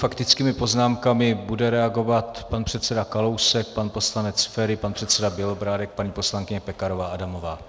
Faktickými poznámkami bude reagovat pan předseda Kalousek, pan poslanec Feri, pan předseda Bělobrádek, paní poslankyně Pekarová Adamová.